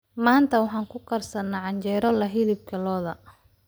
Maanta waxaan ku karsannay canjeero leh hilib lo'aad.